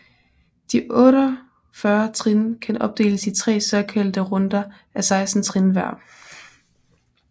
De 48 trin kan opdeles i tre såkaldte runder af 16 trin hver